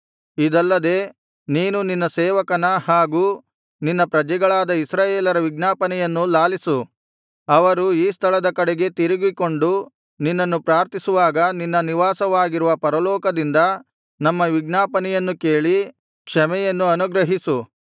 ಇದಲ್ಲದೆ ನೀನು ನಿನ್ನ ಸೇವಕನ ಹಾಗೂ ನಿನ್ನ ಪ್ರಜೆಗಳಾದ ಇಸ್ರಾಯೇಲರ ವಿಜ್ಞಾಪನೆಯನ್ನು ಲಾಲಿಸು ಅವರು ಈ ಸ್ಥಳದ ಕಡೆಗೆ ತಿರುಗಿಕೊಂಡು ನಿನ್ನನ್ನು ಪ್ರಾರ್ಥಿಸುವಾಗ ನಿನ್ನ ನಿವಾಸವಾಗಿರುವ ಪರಲೋಕದಿಂದ ನಮ್ಮ ವಿಜ್ಞಾಪನೆಯನ್ನು ಕೇಳಿ ಕ್ಷಮೆಯನ್ನು ಅನುಗ್ರಹಿಸು